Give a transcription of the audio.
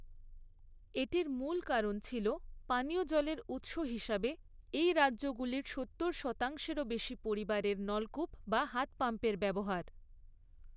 এটির মূল কারণ ছিল পানীয় জলের উৎস হিসাবে এই রাজ্যগুলির সত্তর শতাংশেরও বেশি পরিবারের নলকূপ বা হাত পাম্পের ব্যবহার।